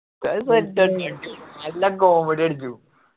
ഉസ്താദ് set എന്നെ യാണ് അയ്യെല്ലാം comedy അടിച്ചു.